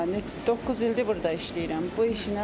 Hə, doqquz ildir burda işləyirəm.